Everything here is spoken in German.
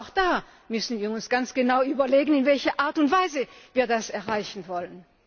Auch da müssen wir uns ganz genau überlegen, in welcher Art und Weise wir das erreichen wollen.